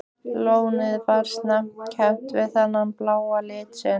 Lónið var snemma kennt við þennan bláa lit sinn.